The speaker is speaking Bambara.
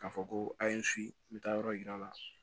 K'a fɔ ko a ye n si n bɛ taa yɔrɔ yira